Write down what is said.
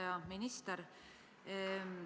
Hea minister!